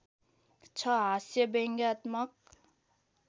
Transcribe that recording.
छ हास्यव्यङ्ग्यात्मक